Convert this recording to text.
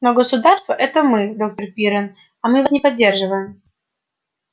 но государство это мы доктор пиренн а мы вас не поддерживаем